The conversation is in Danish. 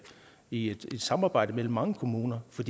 i et samarbejde mellem mange kommuner for